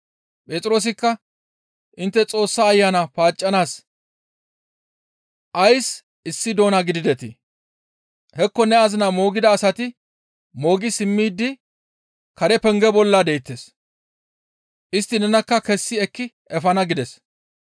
Phexroosikka, «Intte Xoossa Ayana paaccanaas ays issi doona gididetii? Hekko ne azinaa moogida asati moogi simmidi karen penge bolla deettes. Istti nenakka kessi ekki efana» gides.